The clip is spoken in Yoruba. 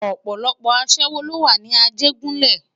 Òpòlòpò aṣèwó ló wá ni Ajegunle